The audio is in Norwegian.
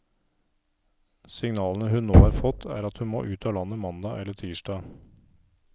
Signalene hun nå har fått, er at hun må ut av landet mandag eller tirsdag.